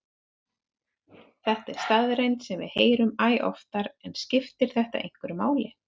Þetta er staðreynd sem við heyrum æ oftar en skiptir þetta einhverju máli?